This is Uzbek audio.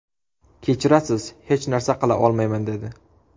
Kechirasiz, hech narsa qila olmayman, dedi.